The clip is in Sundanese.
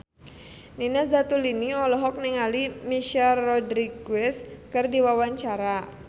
Nina Zatulini olohok ningali Michelle Rodriguez keur diwawancara